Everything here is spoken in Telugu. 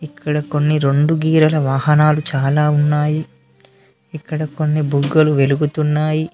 ఇక్కడ కొన్ని రెండు కీరల వాహనాలు చాలా ఉన్నాయి ఇక్కడ కొన్ని బుగ్గలు వెలుగుతున్నాయి.